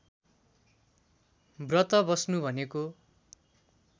व्रत बस्नु भनेको